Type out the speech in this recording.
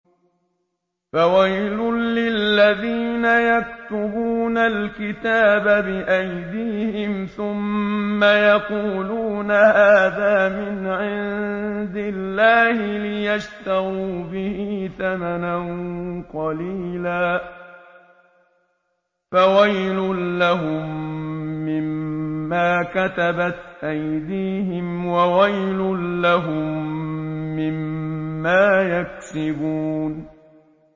فَوَيْلٌ لِّلَّذِينَ يَكْتُبُونَ الْكِتَابَ بِأَيْدِيهِمْ ثُمَّ يَقُولُونَ هَٰذَا مِنْ عِندِ اللَّهِ لِيَشْتَرُوا بِهِ ثَمَنًا قَلِيلًا ۖ فَوَيْلٌ لَّهُم مِّمَّا كَتَبَتْ أَيْدِيهِمْ وَوَيْلٌ لَّهُم مِّمَّا يَكْسِبُونَ